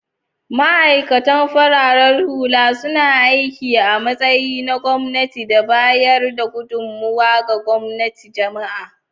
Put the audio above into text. Ma'aikatan farar hula suna aiki a matsayi na gwamnati da bayar da gudummawa ga gwamnatin jama'a.